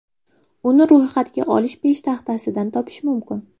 Uni ro‘yxatga olish peshtaxtasidan topish mumkin.